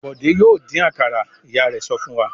"Bọ̀dé yóò dín àkàrà!" Ìyá rẹ̀ sọ fún wa.